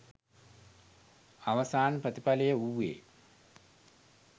අවසාන ප්‍රතිඵලය වූයේ